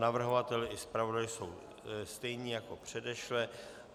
Navrhovatel i zpravodaj jsou stejní jako předešle.